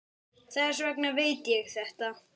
Þess vegna veit ég þetta.